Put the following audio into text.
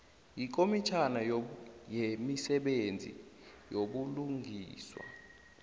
yikomitjhana yemisebenzi yobulungiswa